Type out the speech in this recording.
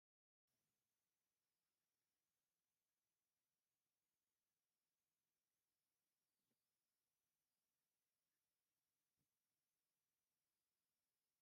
ኣብ ማእኸል ቃላይ ለምለም ዝኾነ ምድሪ ይርአ ኣሎ፡፡ እዚ ቦታ ገዳም እዩ ዝመስል፡፡ ንምዃኑ ኣብ ማእኸል ቃላይ ዘሎ ምድሪ እንታይ ተባሂሉ ይፅዋዕ?